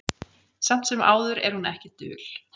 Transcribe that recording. Samt sem áður er hún ekki dul.